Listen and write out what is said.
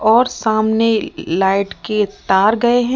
और सामने लाइट के तार गए हैं।